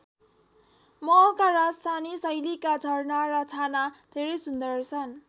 महलका राजस्‍थानी शैलीका झरना र छाना धेरै सुन्दर छन्।